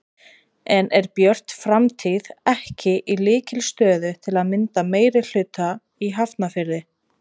En er Björt framtíð ekki í lykilstöðu til að mynda meirihluta í Hafnarfirði?